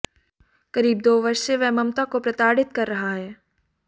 करीब दो वर्ष से वह ममता को प्रताडि़त कर रहा है